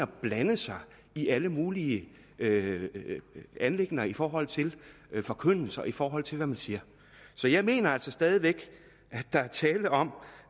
blande sig i alle mulige anliggender i forhold til forkyndelse og i forhold til hvad man siger så jeg mener altså stadig væk at der er tale om